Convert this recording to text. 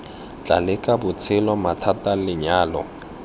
tla leka botshelo mathata lenyalo